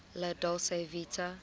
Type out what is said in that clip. la dolce vita